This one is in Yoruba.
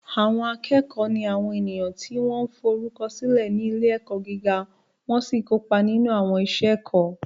Àwọn akẹ́kọ̀ọ́ ni àwọn ènìyàn tí wọ́n forúkọ sílẹ̀ ní ilé-ẹ̀kọ́ gíga wọ́n sì kópa nínú àwọn iṣẹ́ ẹ̀kọ́.